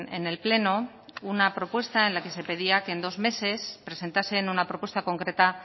en el pleno una propuesta en la que se pedía que en dos meses presentasen una propuesta concreta